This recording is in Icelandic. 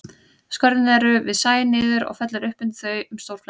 Skörðin eru við sæ niður og fellur upp undir þau um stórflæði.